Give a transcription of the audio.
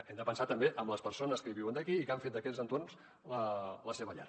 hem de pensar també en les persones que hi viuen aquí i que han fet d’aquests entorns la seva llar